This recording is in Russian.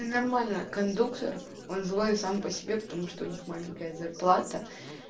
ненормальный кондуктор он злой сам по себе потому что у них маленькая зарплата